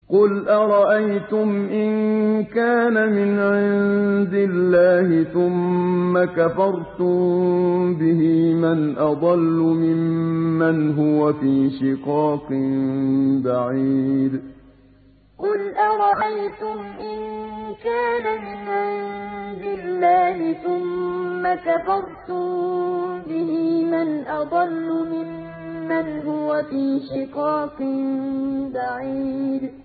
قُلْ أَرَأَيْتُمْ إِن كَانَ مِنْ عِندِ اللَّهِ ثُمَّ كَفَرْتُم بِهِ مَنْ أَضَلُّ مِمَّنْ هُوَ فِي شِقَاقٍ بَعِيدٍ قُلْ أَرَأَيْتُمْ إِن كَانَ مِنْ عِندِ اللَّهِ ثُمَّ كَفَرْتُم بِهِ مَنْ أَضَلُّ مِمَّنْ هُوَ فِي شِقَاقٍ بَعِيدٍ